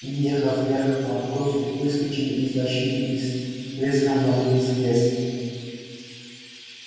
въехав вверх по откосу выскочили из лощины и с треском вломились в лес